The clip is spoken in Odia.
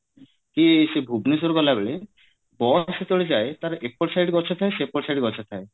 କି ସେ ଭୁବନେଶ୍ଵର ଗଲା ବେଳେ bus ଯେତେବେଳେ ଯାଏ ତାର ଏପଟ side ଗଛ ଥାଏ ସେପଟ side ଗଛ ଥାଏ